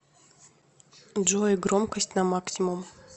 джой громкость на максимум